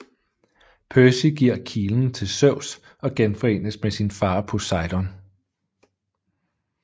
Percy giver kilen til Zeus og genforenes med sin far Poseidon